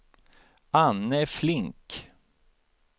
Anne Flink